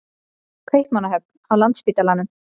Kaupmannahöfn, á Landspítalanum.